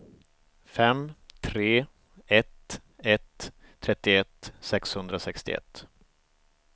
fem tre ett ett trettioett sexhundrasextioett